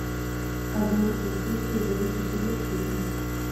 а зори здесь тихие борис васильев фильм